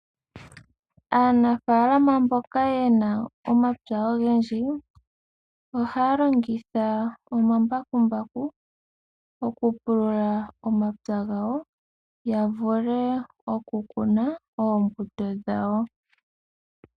Aanafaalama mboka yena omapya ogendji ohaya longitha omambakumbaku okupulula omapya gawo ya vule okukuna oombuto dhawo.